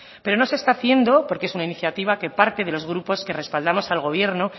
pero no se está haciendo porque es una iniciativa que parte de los grupos que respaldamos al gobierno